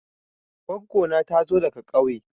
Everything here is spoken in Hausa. Goggo na ta zo daga ƙauye.